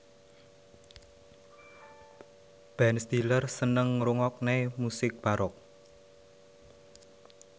Ben Stiller seneng ngrungokne musik baroque